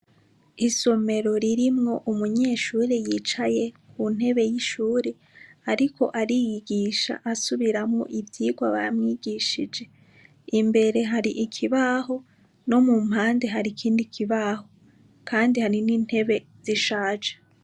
Isomero ririmwo umunyeshure yicaye ku ntebe y'ishure, ariko ariyigisha asubiramwo ivyirwa bamwigishije imbere hari ikibaho no mu mpande hari ikindi kibaho, kandi hari n'intebe zishaje.